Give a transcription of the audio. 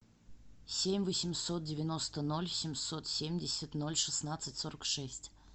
семь восемьсот девяносто ноль семьсот семьдесят ноль шестнадцать сорок шесть